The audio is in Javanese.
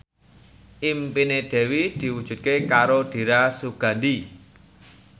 impine Dewi diwujudke karo Dira Sugandi